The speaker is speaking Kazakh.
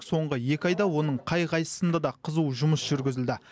соңғы екі айда оның қай қайсысында да қызу жұмыс жүргізілді